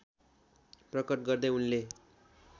प्रकट गर्दै उनले